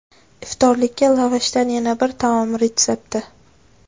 Iftorlikka lavashdan yana bir taom retsepti.